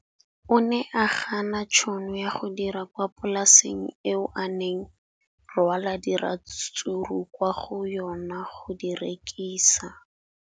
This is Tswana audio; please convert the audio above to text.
O ne a gana tšhono ya go dira kwa polaseng eo a neng rwala diratsuru kwa go yona go di rekisa.